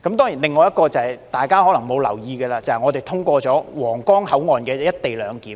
另外一件事情是大家可能沒有留意的，便是我們通過了於皇崗口岸實施的"一地兩檢"措施。